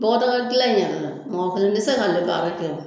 Bɔgɔdaga dilan in mɔgɔ kelen tɛ se k'an kɛ baara kɛ.